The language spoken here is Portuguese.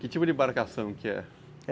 Que tipo de embarcação que é?